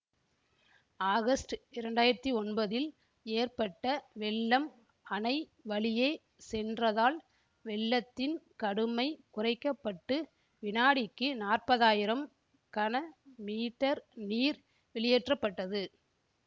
August இரண்டாயிரத்தி ஒன்பதில் ஏற்பட்ட வெள்ளம் அணை வழியே சென்றதால் வெள்ளத்தின் கடுமை குறைக்க பட்டு வினாடிக்கு நாற்பதாயிரம் கன மீட்டர் நீர் வெளியேற்ற பட்டது